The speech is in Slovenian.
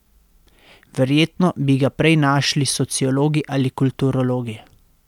Verjetno bi ga prej našli sociologi ali kulturologi.